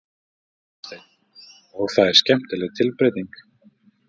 Hafsteinn: Og það er skemmtileg tilbreyting?